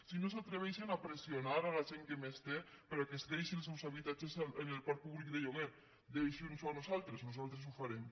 si no s’atreveixen a pressionar la gent que més té perquè deixi els seus habitatges en el parc públic de lloguer deixinnosho a nosaltres nosaltres ho farem